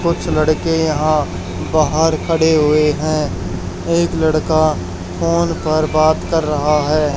कुछ लड़के यहां बाहर खड़े हुए हैं एक लड़का फोन पर बात कर रहा है।